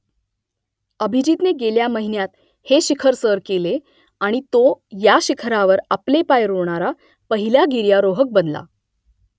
अभिजीतने गेल्या महिन्यात हे शिखर सर केले आणि तो या शिखरावर आपले पाय रोवणारा पहिला गिर्यारोहक बनला